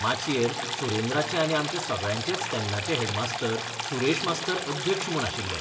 माचयेर सुरेंद्राचे आनी आमच्या सगळ्यांचेच तेन्नाचे हेडमास्तर सुरेश मास्तर अध्यक्ष म्हूण आशिल्ले.